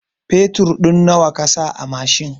Fetur ɗin nawa kasa a mashin?